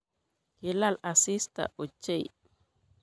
Kilal asista ochei.